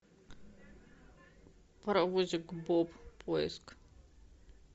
паровозик боб поиск